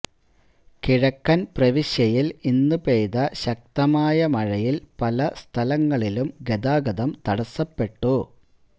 കിഴക്കൻ പ്രവിശ്യയിൽ ഇന്ന് പെയ്ത ശക്തമായ മഴയിൽ പല സ്ഥലങ്ങളിലും ഗതാഗതം തടസപ്പെട്ടു